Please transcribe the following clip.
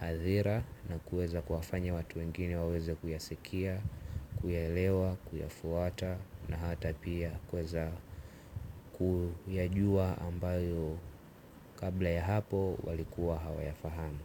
hadhira na kuweza kuwafanya watu wengine waweze kuyasikia, kuyaelewa, kuyafuata na hata pia kuweza kuyajua ambayo kabla ya hapo walikuwa hawayafahamu.